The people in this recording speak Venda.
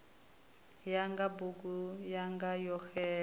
yanga bugu yanga yo xela